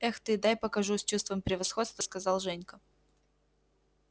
эх ты дай покажу с чувством превосходства сказал женька